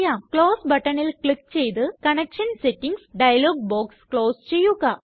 close buttonല് click ചെയ്ത് connection settings dialog box close ചെയ്യുക